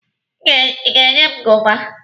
Ị ga-enye m goova?